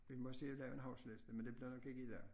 Vi må se at lave en huskeliste men det bliver nok ikke i dag